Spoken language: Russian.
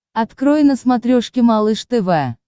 открой на смотрешке малыш тв